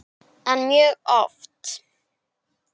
En mjög oft.